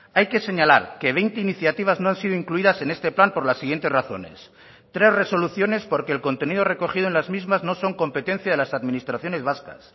hay que señalar que veinte iniciativas no han sido incluidas en este plan por las siguientes razones tres resoluciones porque el contenido recogido en las mismas no son competencia de las administraciones vascas